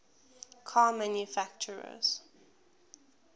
car manufacturers